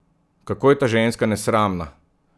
Kako je ta ženska nesramna!